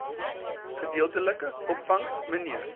gedeeltelike opvangs mnr